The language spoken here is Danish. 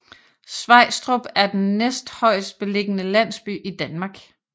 Svejstrup er den næsthøjestbelligende landsby i Danmark